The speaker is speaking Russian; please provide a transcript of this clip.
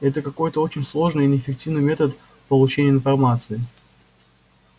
это какой-то очень сложный и неэффективный метод получения информации